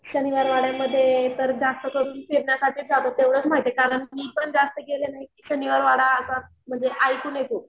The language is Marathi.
शनिवार वाड्यामध्ये तर जास्त करून तेव्हडाच माहितीये कारण कि मी पण जास्त गेले नाही.शनिवार वाडा असा म्हणजे ऐकून भो